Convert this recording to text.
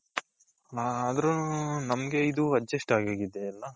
ಆದರೂನು ನಮಗೆ ಇದು adjust ಆಗೋಗಿದೆ ಅಲ್ಲ.